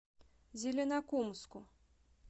зеленокумску